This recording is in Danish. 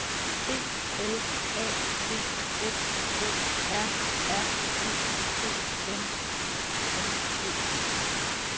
B L A D F O R R E T N I N G